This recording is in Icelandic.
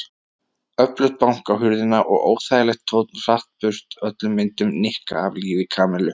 Öflugt bank á hurðina og óþægilegur tónn hratt burt öllum myndum Nikka af lífi Kamillu.